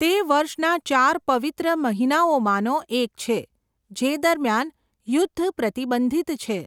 તે વર્ષના ચાર પવિત્ર મહિનામાંનો એક છે જે દરમિયાન યુદ્ધ પ્રતિબંધિત છે.